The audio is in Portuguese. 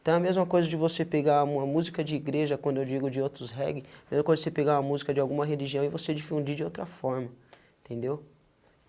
Então é a mesma coisa de você pegar uma música de igreja quando eu digo de outros reggae, a mesma coisa de você pegar uma música de alguma religião e você difundir de outra forma, entendeu?